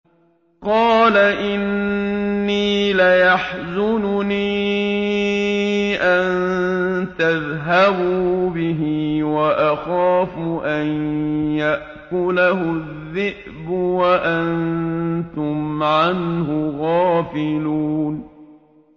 قَالَ إِنِّي لَيَحْزُنُنِي أَن تَذْهَبُوا بِهِ وَأَخَافُ أَن يَأْكُلَهُ الذِّئْبُ وَأَنتُمْ عَنْهُ غَافِلُونَ